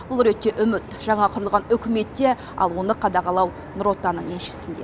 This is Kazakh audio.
бұл ретте үміт жаңа құрылған үкіметте ал оны қадағалау нұр отанның елшісінде